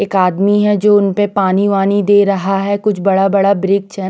एक आदमी है जो उनपे पानी वानी दे रहा है कुछ बड़ा बड़ा ब्रेक छन--